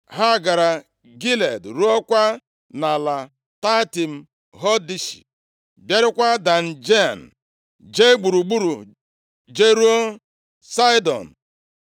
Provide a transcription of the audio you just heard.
ha gara Gilead ruokwa nʼala Taatim Hodshi, bịarukwaa Dan Jaan, jee gburugburu jeruo Saịdọn.